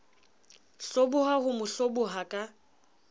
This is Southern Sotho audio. hloboha ho mo hloboha ka